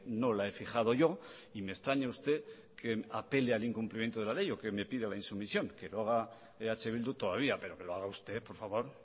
no la he fijado yo y me extraña usted que apele al incumplimiento de la ley o que me pida la insumisión que lo haga eh bildu todavía pero que lo haga usted por favor